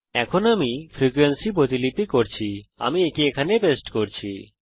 এখন আমি ফ্রিকোয়েন্সি প্রতিলিপি করেছি আমি একে এখানে পেস্ট করছি